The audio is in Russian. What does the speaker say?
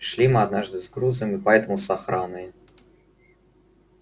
шли мы однажды с грузом и поэтому с охраной